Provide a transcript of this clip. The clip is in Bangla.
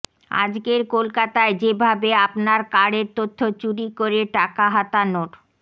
আজকের কলকাতায় যে ভাবে আপনার কার্ডের তথ্য চুরি করে টাকা হাতানোর